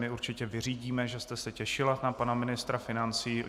My určitě vyřídíme, že jste se těšila na pana ministra financí.